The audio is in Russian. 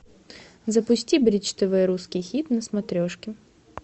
запусти бридж тв русский хит на смотрешке